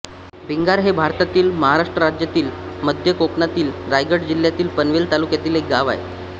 भिंगार हे भारतातील महाराष्ट्र राज्यातील मध्य कोकणातील रायगड जिल्ह्यातील पनवेल तालुक्यातील एक गाव आहे